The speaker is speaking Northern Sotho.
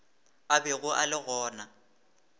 a bego a le gona